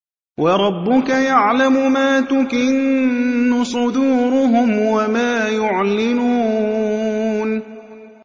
وَرَبُّكَ يَعْلَمُ مَا تُكِنُّ صُدُورُهُمْ وَمَا يُعْلِنُونَ